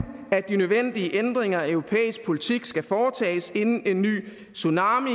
at de nødvendige ændringer af europæisk politik skal foretages inden en ny tsunami